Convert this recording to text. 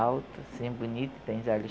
Alto, assim, bonito, tem os olhos